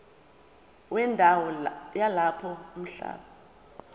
wendawo yalapho umhlaba